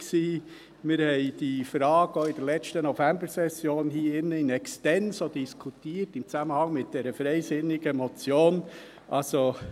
Wir haben diese Frage hier in diesem Saal auch in der letzten Novembersession in extenso diskutiert, im Zusammenhang mit der freisinnigen Motion .